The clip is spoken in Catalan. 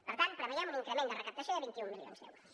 per tant preveiem un increment de recaptació de vint un milions d’euros